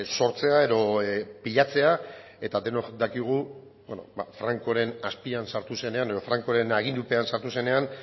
sortzea edo pilatzea eta denok dakigu francoren azpian sartu zenean edo francoren agindupean sartu zenean